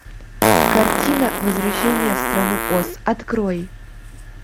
картина возвращение в страну оз открой